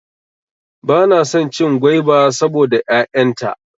Bana son cin gwaiba saboda 'ya'yan ta.